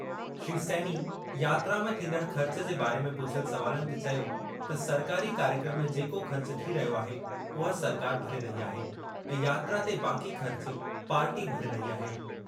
श्री सैनी यात्रा में थींदड़ ख़र्च जे बारे में पुछियल सवालनि ते चयो त सरकारी कार्यक्रम में जेको ख़र्च थी रहियो आहे, उहा सरकार भरे रही आहे ऐं यात्रा ते बाक़ी ख़र्च पार्टी भरे रही आहे।